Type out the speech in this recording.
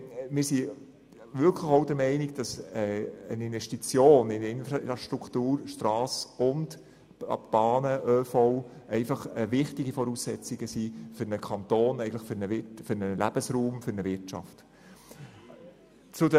Wir sind der Meinung, dass eine Investition in die Infrastruktur Strasse sowie in die ÖV- und Bahninfrastruktur wichtige Voraussetzungen für einen Kanton, einen Lebensraum und eine Wirtschaft sind.